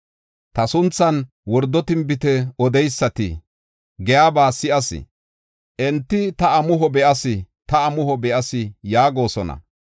“Ta sunthan wordo tinbite odeysati giyaba si7as. Enti, ‘Ta amuho be7as; ta amuho be7as’ yaagosona.